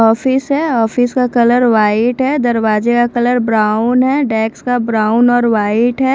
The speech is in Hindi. ऑफिस है ऑफिस का कलर व्हाइट है दरवाजे का कलर ब्राउन है डेक्स ब्राउन और वाइट है।